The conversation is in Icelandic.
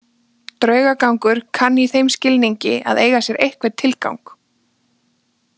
Draugagangur kann í þeim skilningi að eiga sér einhvern tilgang.